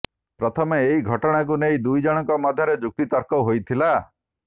ପ୍ରଥମେ ଏହି ଘଟଣାକୁ ନେଇ ଦୁଇଜଣଙ୍କ ମଧ୍ୟରେ ଯୁକ୍ତତର୍କ ହୋଇଥିଲା